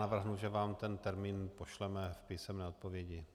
Navrhnu, že vám ten termín pošleme v písemné odpovědi.